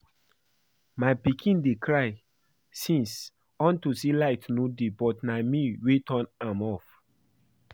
My pikin dey cry since unto say light no dey but na me wey turn am off